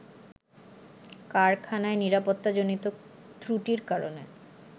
কারখানায় নিরাপত্তাজনিত ত্রুটির কারণে